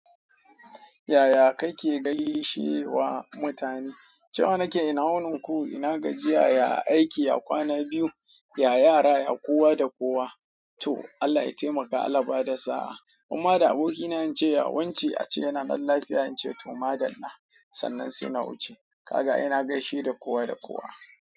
Yaya kake gaishewa mutane? Cewa nake ina wunin ku, ina gajiya, ya aiki, ya kwana biyu, ya yara ya kowa da kowa Toh Allah ya taimaka Allah ya bada sa'a Umma da abokina in ce ya wance, a ce yana nan lafiya in ce to madalla. Sannan sai na wuce. Kaga ina gaishe da kowa da kowa.